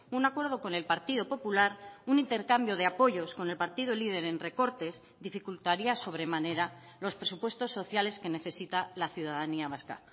un acuerdo con el partido popular un intercambio de apoyos con el partido líder en recortes dificultaría sobremanera los presupuestos sociales que necesita la ciudadanía vasca